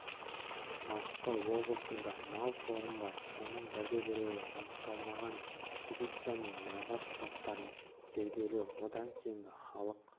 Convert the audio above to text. маңғыстау облысында мал қорым бар соның бірде-біреуі анықталмаған экспедиция мен мұрағат құжаттарын зерделеу одан кейінгі халық